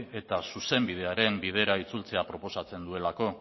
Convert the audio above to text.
eta zuzenbidearen bidera itzultzen proposatzen duelako